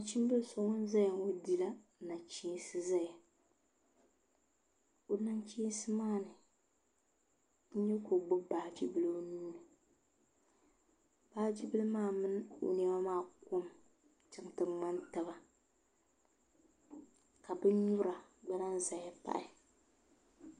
Nachimbili so ŋun ʒɛya ŋo dila nachiinsi ʒɛya o nachiinsi maa ni n nyɛ ka o gbubi baaji bili o nuuuni baaji bili maa mini o niɛma maa kom chɛŋ ti ŋmani taba ka bin nyura gba lahi ʒɛya pahi